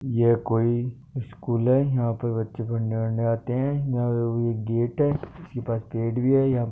यह कोई स्कुल है यह पे बच्चे पढने के लिए आते है यह एक गेट है इसके पास पेड़ भी है